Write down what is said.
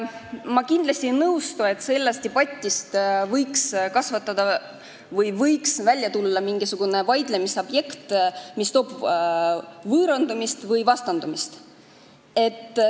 Ma kindlasti ei nõustu sellega, et sellest debatist võiks välja kasvada mingisugune vaidlemise objekt, mis tekitab võõrandumist või vastandumist.